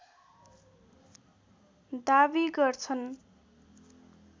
दाबी गर्छन्